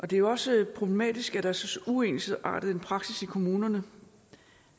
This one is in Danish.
det er jo også problematisk at der er så uensartet en praksis i kommunerne